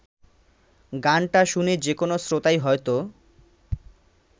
গানটা শুনে যেকোনো শ্রোতাই হয়তো